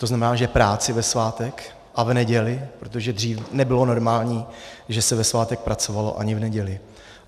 To znamená, že práci ve svátek a v neděli, protože dřív nebylo normální, že se ve svátek pracovalo, ani v neděli.